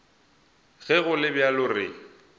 ge go le bjalo re